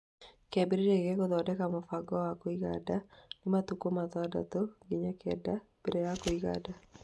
Kĩambĩrĩria gĩa gũthondeka mũbango wa kũiga nda nĩ matukũ matandatũ nginya kenda mbere ya kũiga nda